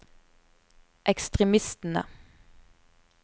ekstremistene